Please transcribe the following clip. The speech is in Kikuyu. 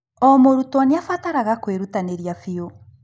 O mũrutwo nĩ abataraga kwĩrutanĩria biũ.